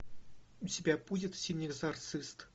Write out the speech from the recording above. у тебя будет синий экзорцист